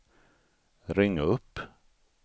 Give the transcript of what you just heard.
ring upp